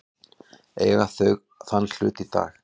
Eiga þau þann hlut í dag.